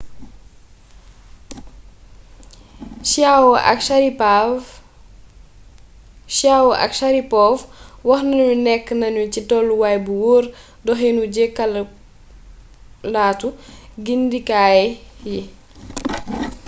chiao ak sharipov wax nanu nekk nanu ci tolluwaay bu wóor doxinu jekkalaatu gindikaay yi